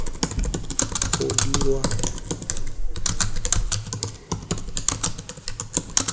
go dirwa mme fa go